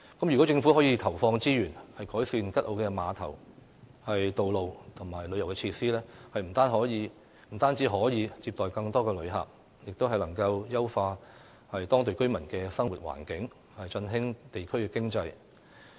如果政府可以投放資源改善吉澳的碼頭、道路和旅遊設施，不但可接待更多旅客，亦能優化當地居民的生活環境，振興地區經濟。